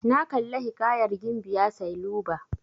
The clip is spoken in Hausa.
Na kalla hiƙayar gimbiya sailuba.